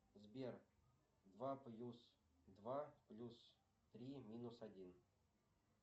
сбер два плюс два плюс три минус один